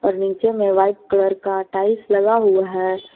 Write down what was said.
नीचे में white colour का टाइल्स लगा हुआ है।